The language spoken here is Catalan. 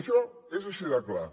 això és així de clar